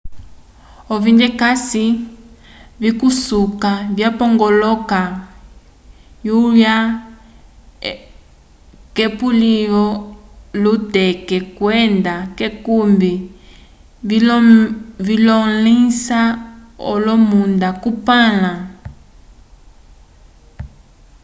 ovindekase vikusuka vipongoloka l'ohuya k'epuluvi lyuteke kwenda k'ekumbi vimolẽhisa olomunda kupãla